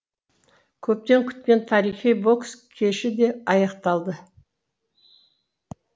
көптен күткен тарихи бокс кеші де аяқталды